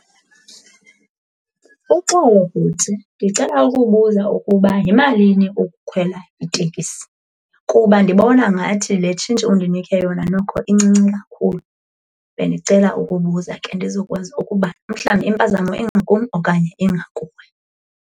Uxolo bhuti, ndicela ukubuza ukuba yimalini ukukhwela itekisi kuba ndibona ngathi le tshintshi undinike yona noko incinci kakhulu. Bendicela ukubuza ke ndizokwazi ukuba umhlawumbi impazamo ingakum okanye ingakuwe.